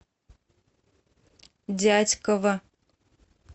дятьково